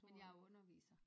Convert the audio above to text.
Men jeg er underviser